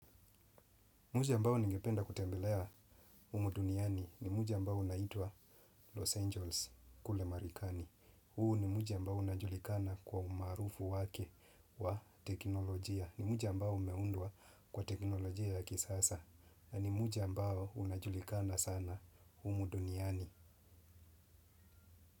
Mji ambao ningependa kutembelea humu duniani ni mji ambao unaitwa Los Angeles kule marekani. Huu ni mji ambao unajulikana kwa umaarufu wake wa teknolojia. Ni mji ambao umeundwa kwa teknolojia ya kisasa. Na ni mji ambao unajulikana sana humu duniani.